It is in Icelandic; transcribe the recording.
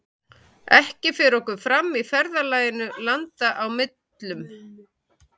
Ekki fer okkur fram í ferðalaginu landa á millum.